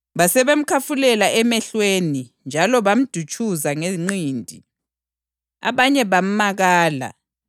Basebemkhafulela emehlweni njalo bamdutshuza ngenqindi. Abanye bamakala